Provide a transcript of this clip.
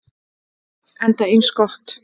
Enda eins gott.